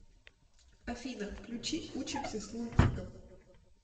афина включи учимся с лунтиком